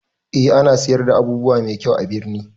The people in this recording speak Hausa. A ana siyar da abubuwa mai kyau a birni